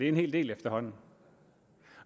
en hel del efterhånden